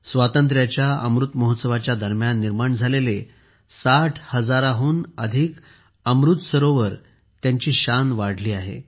स्वातंत्र्याच्या अमृत महोत्सवाच्या दरम्यान निर्माण झालेले 60 हजारहून जास्त अमृत सरोवरांच्या परिसराची चमकदमक वाढली आहे